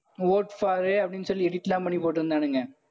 vote for அப்படின்னு சொல்லி edit எல்லாம் பண்ணி போட்டிருந்தானுங்க